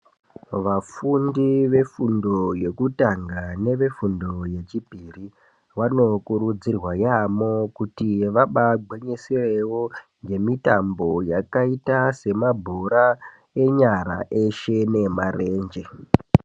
Vafundi ve fundo yekutanga neve fundo ye chipiri vano kurudzirwa yamho kuti vabai gwinyisirewo nge mitambo yakaita se mabhora enyara eshe ne marenje.